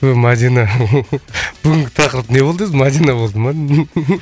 ы мадина бүгінгі тақырып не болды өзі мадина болды ма